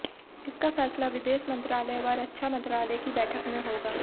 इसका फैसला विदेश मंत्रालय व रक्षा मंत्रालय की बैठक में होगा